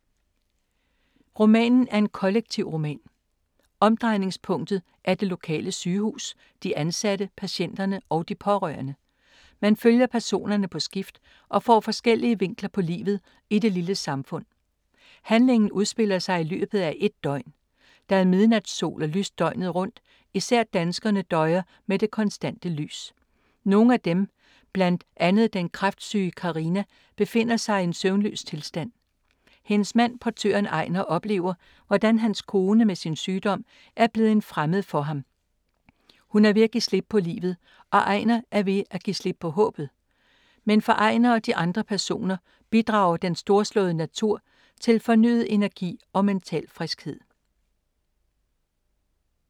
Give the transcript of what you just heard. Romanen er en kollektivroman. Omdrejningspunktet er det lokale sygehus, de ansatte, patienterne og de pårørende. Man følger personerne på skift og får forskellige vinkler på livet i det lille samfund. Handlingen udspiller sig i løbet af ét døgn. Der er midnatssol og lyst døgnet rundt. Især danskerne døjer med det konstante lys. Nogle af dem, blandet andre den kræftsyge Carina, befinder sig i en søvnløs tilstand. Hendes mand, portøren Ejnar, oplever hvordan hans kone med sin sygdom er blevet en fremmed for ham. Hun er ved at give slip på livet, og Ejnar er ved at give slip på håbet. Men for Ejnar og de andre personer bidrager den storslåede natur til fornyet energi og mental friskhed.